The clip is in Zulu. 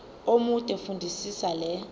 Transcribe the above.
omude fundisisa le